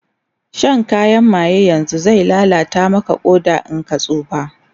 Shan kayan maye yanzun zai lallata Maka Ƙoda in ka tsufa